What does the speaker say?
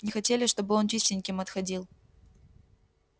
не хотели чтобы он чистеньким отходил